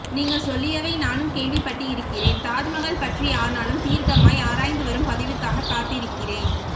நீங்க சொல்லியவை நானும் கேள்வி பட்டு இருக்கிறேன் தாஜ்மகால் பற்றி ஆனாலும் தீர்க்கமாய் ஆராய்ந்து வரும் பதிவுக்காக காத்திருக்கிறேன்